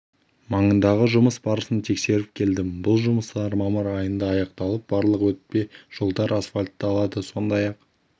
маңындағы жұмыс барысын тексеріп келдім бұл жұмыстар мамыр айында аяқталып барлық өтпе жолдар асфальтталады сондай-ақ